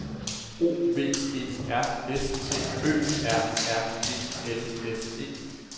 O V E R S T Ø R R E L S E